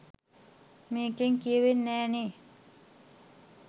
මේකෙන් කියවෙන්නෙ නෑ නේ